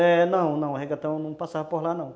É, não, não, o regatão não passava por lá, não.